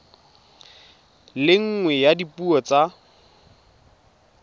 le nngwe ya dipuo tsa